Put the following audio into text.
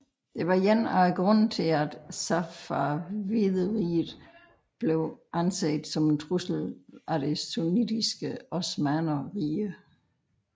Det var én af grundene til at Safavideriget blev anset som en trussel af det sunnitiske Osmannerrige